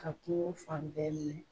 Ka kungo fan bɛɛ minɛ.